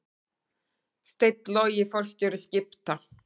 Steinn Logi forstjóri Skipta